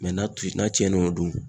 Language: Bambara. n'a tu n'a cɛnnen no dun